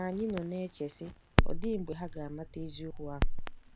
Ma anyị nọ na-eche, sị, ‘Ọ̀ dị mgbe ha ga-amata eziokwu ahụ? '